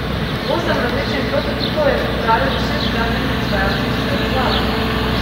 Osem različnih prototipov je pripravilo šest gradbenih izvajalcev iz vse države.